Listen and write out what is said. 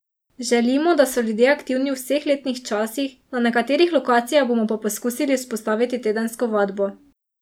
Želimo, da so ljudje aktivni v vseh letnih časih, na nekaterih lokacijah bomo pa poskusili vzpostaviti tedensko vadbo.